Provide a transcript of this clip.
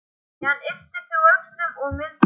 Síðan ypptir hún öxlum og mildast.